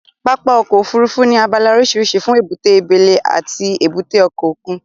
Pápá ọkọ̀ Òfurufú ní abala oríṣiríṣi fún èbúté abẹ́lẹ́ àti èbúté òkè òkun